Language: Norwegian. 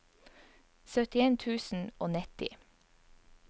syttien tusen og nitti